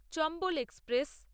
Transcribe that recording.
Chambal express